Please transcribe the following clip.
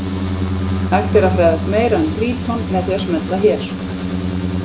Hægt er að fræðast meira um Tríton með því að smella hér.